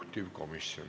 Istungi lõpp kell 13.12.